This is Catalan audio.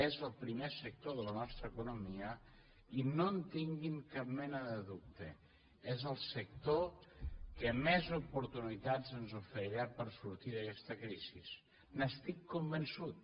és el primer sector de la nostra economia i no en tinguin cap mena de dubte és el sector que més oportunitats ens oferirà per sortir d’aguesta crisi n’estic convençut